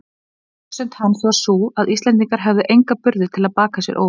Röksemd hans var sú, að Íslendingar hefðu enga burði til að baka sér óvild